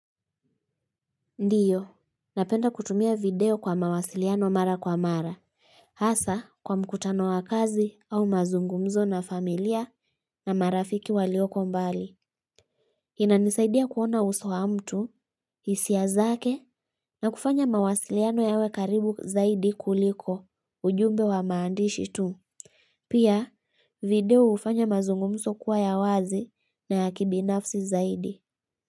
Ndiyo, napenda kutumia video kwa mawasiliano mara kwa mara. Hasa kwa mkutano wa kazi au mazungumzo na familia na marafiki walioko mbali. Hii inanisaidia kuona uso wa mtu, hisia zake, na kufanya mawasiliano yawe karibu zaidi kuliko, ujumbe wa maandishi tu. Pia, video hufanya mazungumzo kuwa ya wazi na ya kibinafsi zaidi.